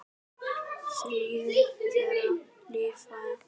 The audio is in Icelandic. Þrjú þeirra lifa enn.